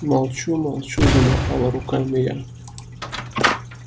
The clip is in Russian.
молчу молчу замахала руками я